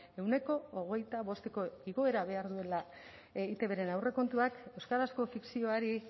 ehuneko hogeita bosteko igoera behar duela eitbren aurrekontuak euskarazko fikzioari